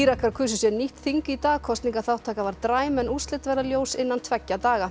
Írakar kusu sér nýtt þing í dag kosningaþáttaka var dræm en úrslit verða ljós innan tveggja daga